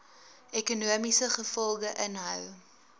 ekonomiese gevolge inhou